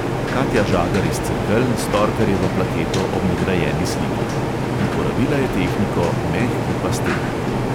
Katja žagar iz cerkelj s torkarjevo plaketo ob nagrajeni sliki: uporabila je tehniko mehki pastel.